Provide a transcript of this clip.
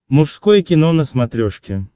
мужское кино на смотрешке